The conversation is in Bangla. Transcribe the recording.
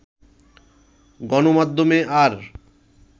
গণমাধ্যমে আর